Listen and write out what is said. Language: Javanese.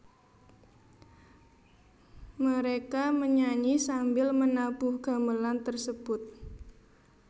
Mereka menyanyi sambil menabuh gamelan tersebut